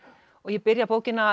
og ég byrja bókina